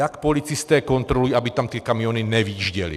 Jak policisté kontrolují, aby tam ty kamiony nevjížděly?